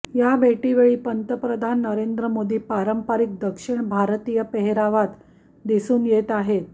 या भेटीवेळी पंतप्रधान नरेंद्र मोदी पारंपरिक दक्षिण भारतीय पेहरावात दिसून येत आहेत